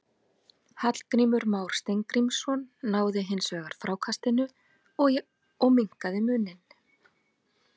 Hallgrímur Mar Steingrímsson náði hins vegar frákastinu og minnkaði muninn.